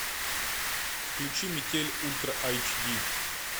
включи метель ультра айч ди